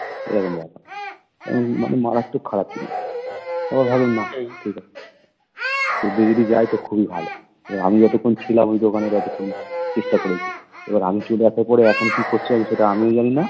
এরকম ব্যাপার মানে মারাত্মক খারাপ জিনিস আমি ভাবলাম না ঠিক আছে যদি যায় তো খুবই ভালো, এবার আমি যতক্ষণ ছিলাম ঐ দোকানে ততক্ষন চেষ্টা করেছি, এবার আমি চলে আসার পরে এখন কি করছে আমি সেটা আমিও জানি না